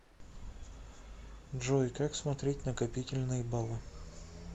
джой как смотреть накопительные баллы